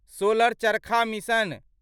solar चरखा mission